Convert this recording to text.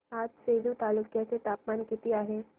आज सेलू तालुक्या चे तापमान किती आहे